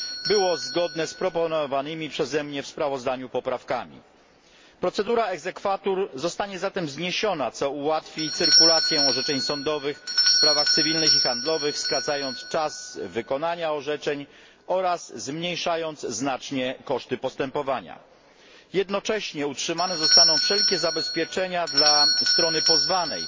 było zgodne z proponowanymi przez mnie w sprawozdaniu poprawkami. Procedura exequatur zostanie zatem zniesiona, co ułatwi cyrkulację orzeczeń sądowych w sprawach cywilnych i handlowych, skracając czas wykonania orzeczeń oraz zmniejszając znacznie koszty postępowania. Jednocześnie utrzymane zostaną wszelkie zabezpieczenia dla strony pozwanej,